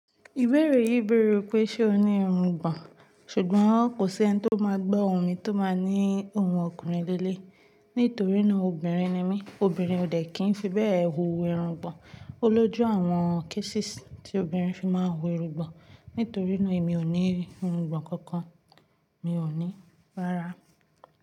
Ìbéèrè yìí bèrè pé ṣe o ní irungbọ̀n? Ṣùgbọ́n kò sí ẹni tí ó máa gbo ohun mi tí ó máa ní ohun ọkùnrin léle, nítorí náà obìnrin ni mí. Obìnrin ò dẹ̀ kín fi bẹ́ẹ̀ hu irungbọ̀n. Ó lójú àwọn cases tí obìnrin fi máa ń hu irungbọ̀n. Nítorí náà èmi ò ní irungbọ̀n kankan, mi ò ní rárá.